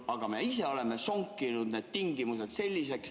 Aga me ise oleme sonkinud need tingimused selliseks ...